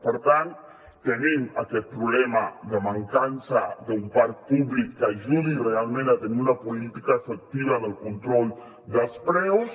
per tant tenim aquest problema de mancança d’un parc públic que ajudi realment a tenir una política efectiva del control dels preus